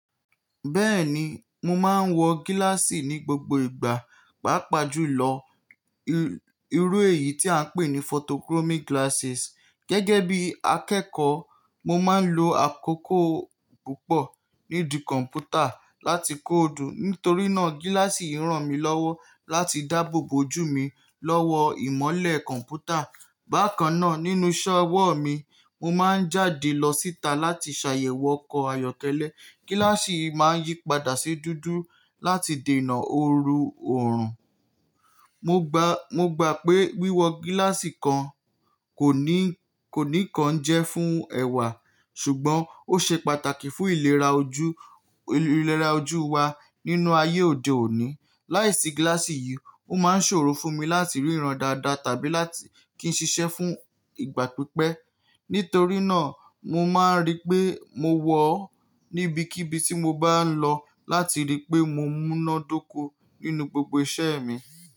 Bẹ́ẹ̀ni, mo máa ń wọ gíláàsì ní gbogbo ìgbà, pàápàá jùlọ irú èyí tí à ń pè ní photochromic glasses. Gẹ́gẹ́ bí akẹ́kọ̀ọ́, mo máa ń lo àkókò púpọ̀ ní ìdí kọ̀npútà láti kóòdù. Nítorí náà, gíláàsì yìí ràn mí lọ́wọ́ láti dáàbò bo ojú mi lọ́wọ́ ìmọ́lẹ̀ kọ̀npútà. Bákan náà, nínú iṣẹ́ ọwọ́ mi, mo máa ń jáde lọ síta láti ṣàyẹ̀wò ọkọ̀ ayọ́kẹ́lẹ́. Gíláàsì yìí máa ń yípadà sí dúdú láti dènà òórùn. Mo gba, mo gba pé wíwọ gíláàsì kan kò ní, kò ní kan jẹ́ fún ẹ̀wà, ṣùgbọ́n ó ṣe pàtàkì fún ìlera ojú, ìlera ojú wa nínú ayé òde òní. Láìsí gíláàsì yìí, ó máa ń ṣòro fún mi láti ríran dáadáa tàbí láti kí n ṣiṣẹ́ fún ìgbà pípẹ́. Nítorí náà, mo máa ń rí pé mo wọ̀ ọ́ níbikíbi tí mo bá ń lọ láti rí pé mo múná dóko nínú gbogbo iṣẹ́ mi.